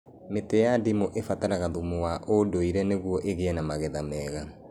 Mĩtĩ ya ndimũ ĩbataraga thumu wa ũndũire nĩguo ĩgĩe magetha mega